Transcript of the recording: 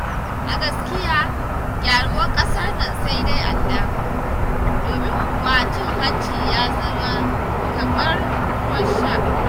A gaskiya gyaruwar ƙasar na sai dai Allahu, domin kuwa cin hanci ya zama kamar ruwan sha.